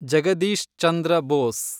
Jagadish Chandra Bose